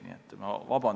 Nii et vabandust!